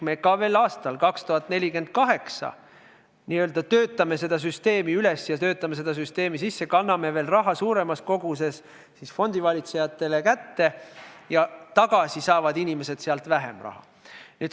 Ka veel 2048. aastal me n-ö töötame seda süsteemi üles ja töötame seda süsteemi sisse, anname raha fondivalitsejatele kätte suuremas koguses ja inimesed saavad tagasi vähem.